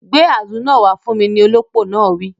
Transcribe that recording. Gbé àzu náà wá fún mi, ni olópò náà wí